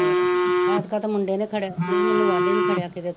ਏਕਤਾ ਤਾਂ ਮੁੰਡੇ ਨੇ ਖੜਿਆ ਮੈਂਨੂੰ ਬਾਂਡੇ ਨੇ ਖੜਿਆ ,